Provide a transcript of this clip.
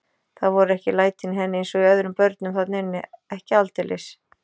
Það voru ekki lætin í henni eins og öðrum börnum þarna inni, ekki aldeilis.